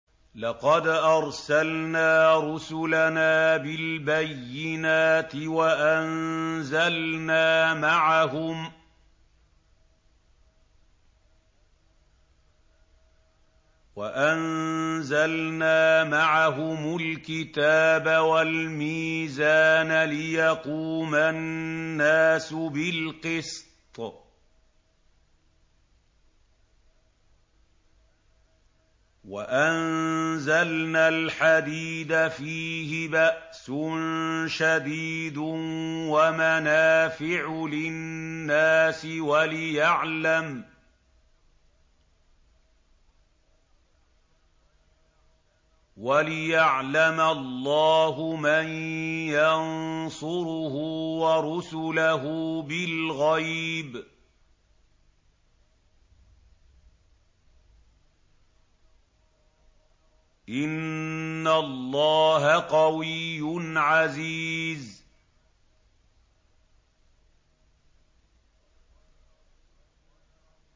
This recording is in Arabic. لَقَدْ أَرْسَلْنَا رُسُلَنَا بِالْبَيِّنَاتِ وَأَنزَلْنَا مَعَهُمُ الْكِتَابَ وَالْمِيزَانَ لِيَقُومَ النَّاسُ بِالْقِسْطِ ۖ وَأَنزَلْنَا الْحَدِيدَ فِيهِ بَأْسٌ شَدِيدٌ وَمَنَافِعُ لِلنَّاسِ وَلِيَعْلَمَ اللَّهُ مَن يَنصُرُهُ وَرُسُلَهُ بِالْغَيْبِ ۚ إِنَّ اللَّهَ قَوِيٌّ عَزِيزٌ